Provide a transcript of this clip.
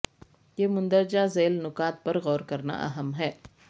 یہ مندرجہ ذیل نکات پر غور کرنا اہم ہے